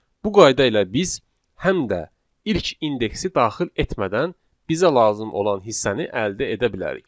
Bu qayda ilə biz həm də ilk indeksi daxil etmədən bizə lazım olan hissəni əldə edə bilərik.